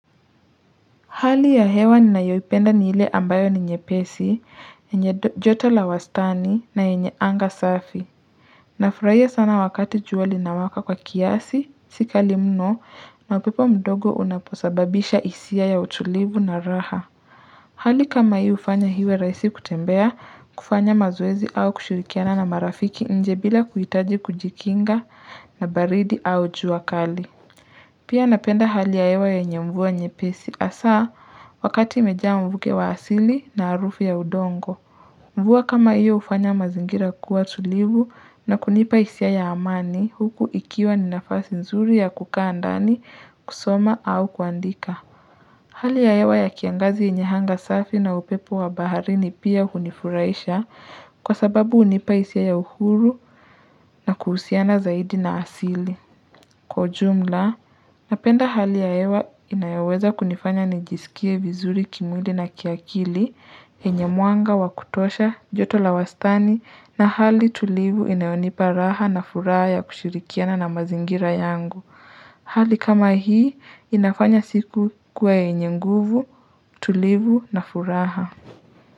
Hali ya hewa ni nayoipenda ni ile ambayo ni nyepesi, yenye jota la wastani na yenye anga safi. Nafurahia sana wakati juali na waka kwa kiasi, sika limno na upepo mdogo unaposababisha hisia ya utulivu na raha. Hali kama hii ufanya iwe raisi kutembea, kufanya mazoezi au kushirikiana na marafiki nje bila kuhitaji kujikinga na baridi au juakali. Pia napenda hali yahewa yenye mvua nye pesi hasa wakati imejaa mvuke wa asili na harufu ya udongo. Mvua kama iyo ufanya mazingira kuwa tulivu na kunipa hisia ya amani huku ikiwa ninafasi nzuri ya kukaa ndani kusoma au kuandika. Hali ya hewa ya kiangazi yenye anga safi na upepo wa bahari ni pia hunifuraisha kwa sababu hunipa hisia ya uhuru na kuhusiana zaidi na asili. Kwa jumla, napenda hali ya hewa inayoweza kunifanya nijisikie vizuri kimwili na kiakili, yenye mwanga wa kutosha, joto la wastani, na hali tulivu inayonipa raha na furaha ya kushirikiana na mazingira yangu. Hali kama hii, inafanya siku ikue yenye nguvu, tulivu na furaha.